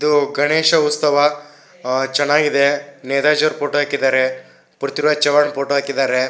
ಇದು ಗಣೇಶ ಉತ್ಸವ ಚೆನ್ನಾಗಿದೆ ನೀರಜ್ ರವರ ಫೋಟೋ ಹಾಕಿದ್ದಾರೆ ಪೃಥ್ವಿರಾಜ್ ಚವಾಣ್ ಫೋಟೋ ಹಾಕಿದ್ದಾರೆ.